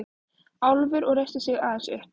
Álfur og reisti sig aðeins upp.